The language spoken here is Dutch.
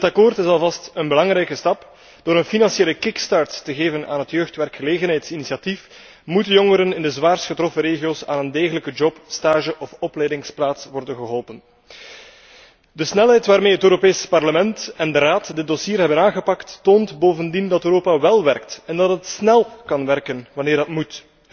Dit akkoord is alvast een belangrijke stap. Door een financiële impuls te geven aan het jeugdwerkgelegenheidsinitiatief moeten jongeren in de zwaarst getroffen regio's aan een degelijke job, stage of opleidingsplaats worden geholpen. De snelheid waarmee het Europees Parlement en de Raad dit dossier hebben aangepakt, toont bovendien dat Europa wel werkt en dat het snel kan werken wanneer het moet.